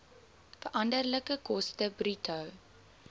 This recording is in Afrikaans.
veranderlike koste bruto